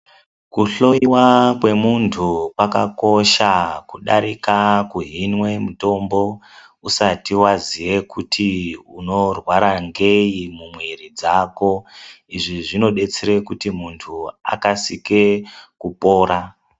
Kuhloiwa kwemuntu kwakakosha kudarika kuhinwe mutombo usati waziye kuti unorwara ngei mumwiri dzako izvi zvinodetsere kuti muntu akasike kupora.